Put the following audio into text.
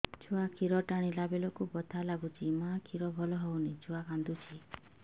ଛୁଆ ଖିର ଟାଣିଲା ବେଳକୁ ବଥା ଲାଗୁଚି ମା ଖିର ଭଲ ହଉନି ଛୁଆ କାନ୍ଦୁଚି